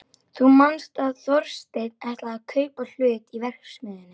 Þú manst að Þorsteinn ætlaði að kaupa hlut í verksmiðjunni.